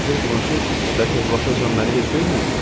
Madmazel Blanşe bəlkə bu vaxtacan məni heç görməyib?